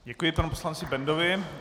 Děkuji panu poslanci Bendovi.